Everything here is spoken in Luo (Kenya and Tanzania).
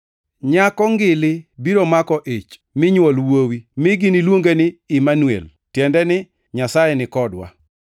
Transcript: “Nyako ngili biro mako ich minywol wuowi, mi nigiluonge ni Imanuel” + 1:23 \+xt Isa 7:14\+xt* (tiende ni, “Nyasaye ni kodwa”).